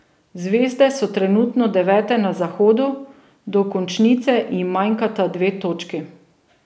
Zvezde so trenutno devete na zahodu, do končnice jim manjkata dve točki.